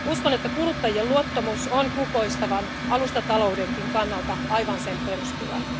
Uskon, että kuluttajien luottamus on kukoistavan alustataloudenkin kannalta aivan sen peruspilari.